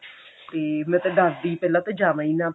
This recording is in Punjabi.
ਤੇ ਮੈਂ ਤਾਂ ਡਰ ਗਈ ਪਹਿਲਾਂ ਤੇ ਜਾਵਾਂ ਹੀ ਨਾ